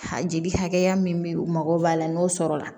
A jeli hakɛya min be yen u mago b'a la n'o sɔrɔla